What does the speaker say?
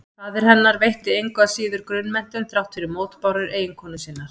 Faðir hennar veitti henni engu að síður grunnmenntun þrátt fyrir mótbárur eiginkonu sinnar.